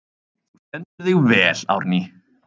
Þú stendur þig vel, Árný!